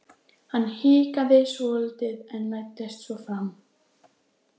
Hann hikaði svolítið en læddist svo fram.